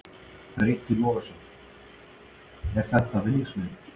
Breki Logason: Er þetta vinningsmiðinn?